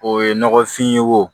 O ye nɔgɔfin ye wo